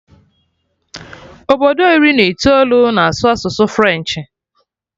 Obodo iri na itoolu na-asụ asụsụ French